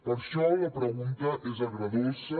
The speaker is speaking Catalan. per això la pregunta és agredolça